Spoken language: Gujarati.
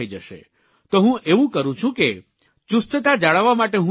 તો હું એવું કરું છું કે ચુસ્તતા જાળવવા માટે હું શું કરું છું